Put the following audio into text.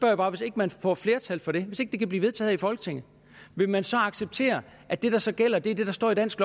jeg bare hvis ikke man får flertal for det hvis ikke det kan blive vedtaget her i folketinget vil man så acceptere at det der så gælder er det der står i dansk